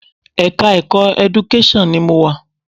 Ẹ̀ka-ẹ̀kọ́ Education ni mo wà.